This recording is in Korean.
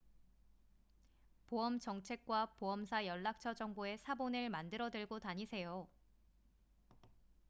보험 정책과 보험사 연락처 정보의 사본을 만들어 들고 다니세요